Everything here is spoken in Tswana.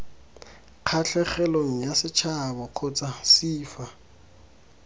kgatlhegelong yasetšhaba kgotsa c fa